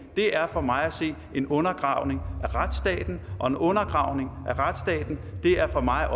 for mig at se en undergravning af retsstaten og en undergravning af retsstaten er for mig